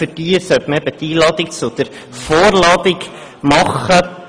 Für diese soll man die «Einladung» zur «Vorladung» machen.